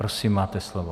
Prosím, máte slovo.